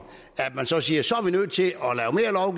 siger så